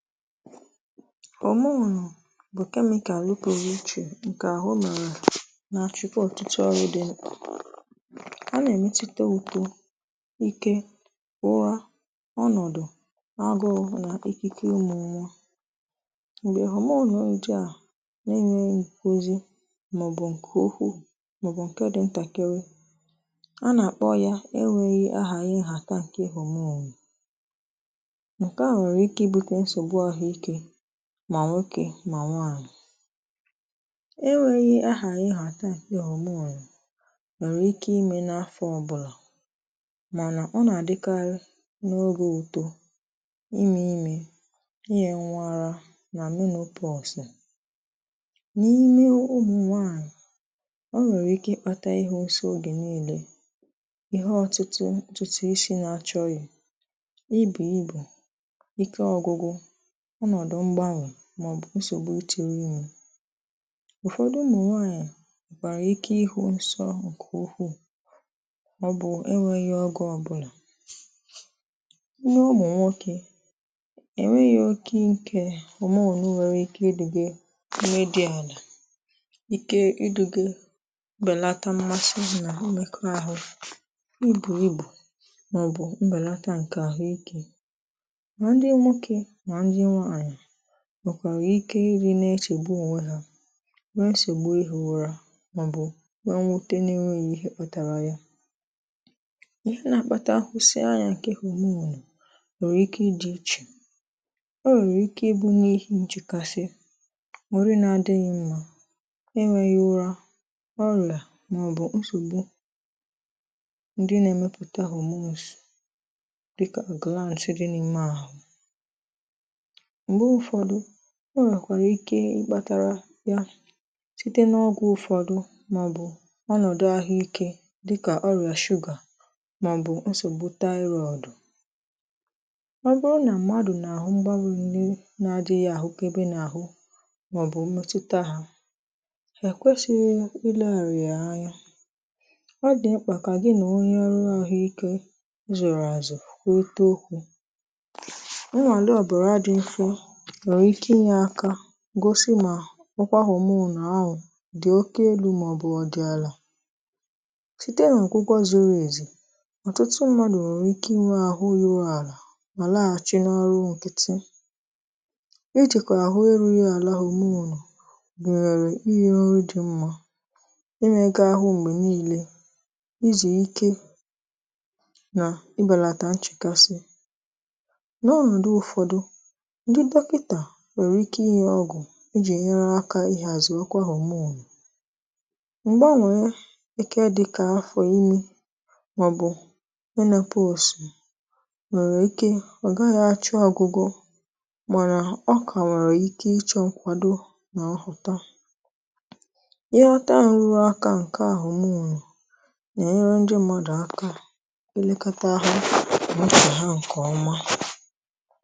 Hòmonu bụ̀ kemikalụ pụrụ ichè ǹkè ahụ nà nà-achụkwa ọtụtụ ọrụ dị̀ a nà-èmetụta uto ike ụra ọnọ̀dụ̀ agụ̇ụ̇ nà ikike ụmụ̀nwà m̀gbè hòmonù ndị à na-enweghị m̀kuzi màọbụ̀ ǹkè okwu màọbụ̀ ǹke dị ntàkịrị a nà-àkpọ ya enweghị ahà iyi nhata ǹkè homonu nke a nwere ike ịbute nsogbu ahụike mà nwokė mà nwanyị enweghị ahaghị nhàtà homonu nwèrè ike imė n’afọ̇ ọbụlà mànà ọ nà-àdịkarị n’ogè ùto ịmị̇ imė ị yè nwa ara nà menopọsụ n’ime ụmụ̀ nwaànyị̀ ọ nwèrè ike ịkpȧtà ihe nsọ ogè niilė ihe ọtụtụ ọụ̀tụtụ isi̇ na-achọghị̀ ịbì ịbì ike ọgụgụ ọnọdụ mgbanwe màọbụ̀ nsògbu ị tìrì imė ụ̀fọdụ ụmụnwaànyà nwekwara ike ihu̇ nsọ̇ ǹkè ukwuù ọ bụ̀ enwėghi̇ ọgụ̇ ọbụlà n’ụmụ̀nwokė ènweghị̇ oke ikè hòmonù nwèrè ike ị dị̀ghị̀ ime dị̇ àlà ike idu̇ghė mbèlata mmasịsị nà omėkọ ahụ̀ ibù ibù màọbụ̀ mbèlata ǹkè àhụ ikė ma ndị nwoke ma ndị nwanyị nwekwàrà ike ịdị nà echègbu ònwè hȧ wee nsogbu ihė ụrȧ màọ̀bụ̀ nwẹ nwote n’enweghị̀ ihẹ kpȧtàrà ya ihe nà-àkpata ahụsịianyȧ ǹkẹ hòmonù nwèrè ike idi ichè o nwèrè ike ịbụ n’ihi ǹchekasị nwèrè na-adịghị̇ mmȧ enweghị ụra ma ọ bụ nsogbu ndị nà-ẹmẹpụta homose dịkà galantz dị nà ime ahụ̀ mgbe ụfọdụ ọ nwekwàrà ike ịkpȧtȧrȧ ya site n’ọgwụ̇ ụfọdụ màọbụ̀ ọnọ̀dụ ahụikė dịkà ọrịà sugar màọbụ̀ nsògbu taịrọọdụ ọbụrụ nà mmadụ̀ nà-àhụ mgbarùrù ni na-adịghị àhụkebe n’àhụ màọbụ̀ mmẹ̀tụta hȧ è kwesịghị ịleghàrị yȧ anya ọ dị̀ mkpà kà gị nà onye ọrụ ahụikė azụrụ àzụ̀ kwurịta okwu̇? nwere ike inye aka gosị mà nkwa homomu ahụ dị̀ oke elu̇ màọbụ̇ ọdị àlà site nà ọgwụgwọ zụrụ èzu ọ̀tụtụ mmadụ̀ nwère ike inwe àhụ ruru àlà mà laghàchi n’ọrụ nkịtị e jìkwà àhụ erughị àlà homonu? inye ọrụ dị̇ mmȧ ike ahụ m̀gbè niilė izì ike nà ịbàlàtà ǹchekasị nwaghi̇tà na ọnọdụ ụfọdụ ndị dọkịta nwèrè ike ịnye ọgwụ̀ ijì nyerụ aka ịhàzi ọkwà homonu m̀gbànwèrè ike dịkà afọ̀ imi màọbụ̀ menopọsụ nwèrè ike ọ̀ gaghị̇ achọ ọgwụgwọ mànà ọ kà nwere ike ịchọ ǹkwàdo nà-nhọta ihe ọta nrụrụ aka ǹke homonu nà-enyere ndị mmadụ̀ aka elekata ahụ̀ na? ha ǹkè ọma